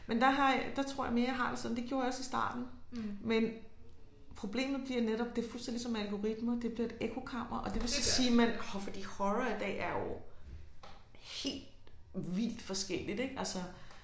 Men der har jeg der tror jeg mere jeg har det sådan det gjorde jeg også i starten men problemet bliver netop det fuldstændig ligesom algoritmer det bliver et ekkokammer og det vil så sige man for fordi horror i dag er jo helt vildt forskelligt ik altså